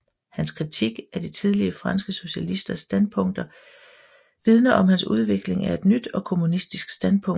Hans kritik af de tidlige franske socialisters standpunkter vidner om hans udvikling af et nyt og kommunistisk standpunkt